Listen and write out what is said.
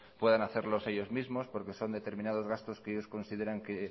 puedan hacerlos ellos mismos porque son determinados gastos que ellos consideran que